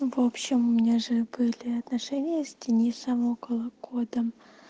в общем у меня же были отношения с денисом около года